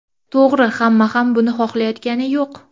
To‘g‘ri, hamma ham buni xohlayotgani yo‘q.